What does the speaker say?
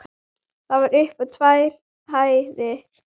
Það var upp á tvær hæðir.